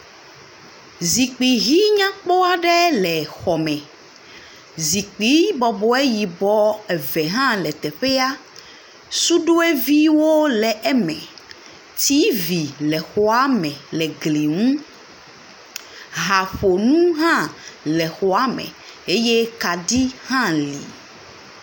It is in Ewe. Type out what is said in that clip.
Zikpui hii nyakpɔ aɖe le xɔ me. Zikpui yibɔ bɔbɔe eve hã le teƒea, suɖoeviwo le eme, tivi le xɔa me le gli ŋu, haƒonu hã le xɔa le me eye kaɖi hã le.